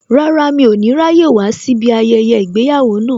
Rárá, mi ò ní ráyè wá síbí ayẹyẹ ìgbéyàwó náà